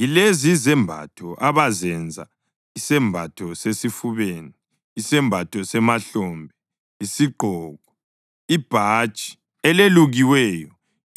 Yilezi izembatho abazazenza: isembatho sesifubeni, isembatho semahlombe, isigqoko, ibhatshi elelukiweyo,